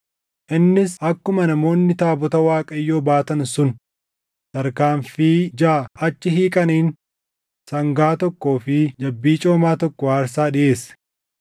Innis akkuma namoonni taabota Waaqayyoo baatan sun tarkaanfii jaʼa achi hiiqaniin sangaa tokkoo fi jabbii coomaa tokko aarsaa dhiʼeesse.